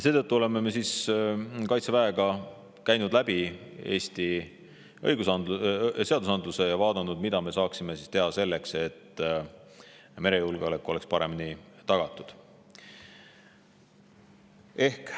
Seetõttu oleme me Kaitseväega käinud läbi Eesti õigusaktid ja vaadanud, mida me saaksime teha selleks, et merejulgeolek oleks paremini tagatud.